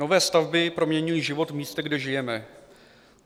"Nové stavby proměňují život v místě, kde žijeme.